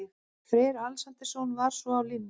Freyr Alexandersson var svo á línunni.